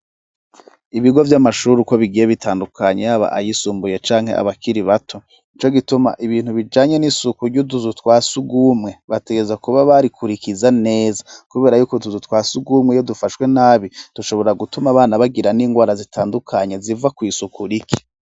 Ibigo vy'amashuri uko bigiye bitandukanye yaba ayisumbuye canke abakiri bato, nico gituma ibintu bijanye n'isuku ry'utuzu twa surwumwe bategerezwa kuba barikurikiza neza kubera y'uko utuzu twa surwumwe iyo dufashwe nabi tushobora gutuma abana bagira n'indwara zitandukanye ziva kw'isuku rike.